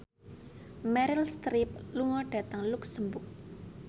Meryl Streep lunga dhateng luxemburg